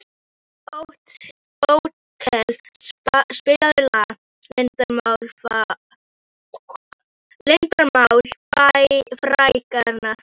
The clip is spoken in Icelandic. Otkell, spilaðu lagið „Leyndarmál frægðarinnar“.